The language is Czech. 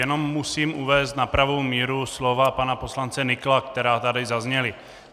Jenom musím uvést na pravou míru slova pana poslance Nykla, která tady zazněla.